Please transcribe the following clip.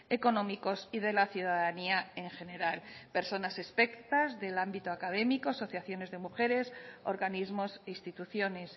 económicos y de la ciudadanía en general personas expertas del ámbito académicos asociaciones de mujeres organismos instituciones